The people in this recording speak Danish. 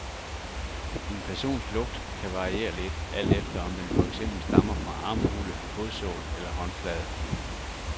En persons lugt kan variere lidt, alt efter om den for eksempel stammer fra armhule, fodsål eller håndflade.